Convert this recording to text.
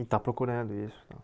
E está procurando isso tal.